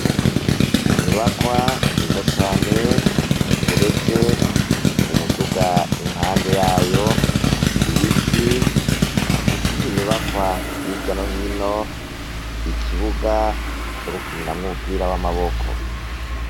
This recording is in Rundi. Inyubakwa nziza cane igeretse umuduga, impande yayo ibiti, izindi nyubakwa hirya no hino ikibuga cogukiniramwo umupira w'amaboko.